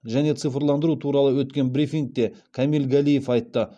және цифрландыру туралы өткен брифингте камиль галиев айтты